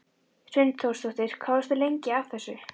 Hrund Þórsdóttir: Hvað varstu lengi að þessu?